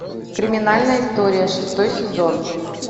криминальная история шестой сезон